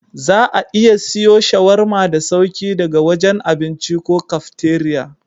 Za'a iya siwo shawarma da sauri daga wajen abinci ko kafteriya.